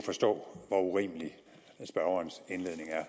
forstå hvor urimelig spørgerens indledning er